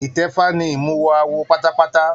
Itẹfa ní imuwọ̀ awo pátápátá.